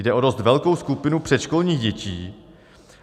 Jde o dost velkou skupinu předškolních dětí.